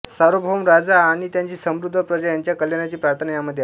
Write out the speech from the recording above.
सार्वभौम राजा आणि त्याची समृद्ध प्रजा यांच्या कल्याणाची प्रार्थना यामध्ये आहे